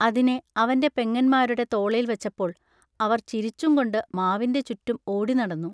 അതിനെ അവന്റെ പെങ്ങന്മാരുടെ തോളേൽ വച്ചപ്പോൾ അവർ ചിരിച്ചുംകൊണ്ടു മാവിന്റെ ചുറ്റും ഓടിനടന്നു.